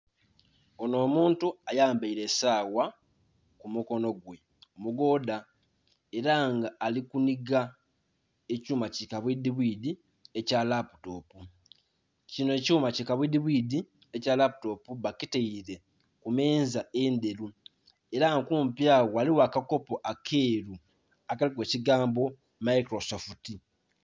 Onh'omuntu ayambaile esawa ku mukono gwe omugoodha ela nga ali kunhiga ekyuma ki kabwiidhibwiidhi ekya laputopu, kinho ekyuma kikabwiidhibwiidhi ekya laputopu bakitaile ku meeza endheru ela nga kumpi agho ghaligho akakopo akeeru akaliku ekigambo "Microsoft".